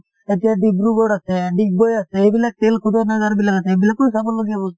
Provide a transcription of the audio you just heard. এতিয়া ডিব্ৰুগড় আছে ডিগবৈ আছে , এইবিলাক তেল শোধনাগাৰ বিলাক আছে , এইবিলাকো চাব লগীয়া বস্তু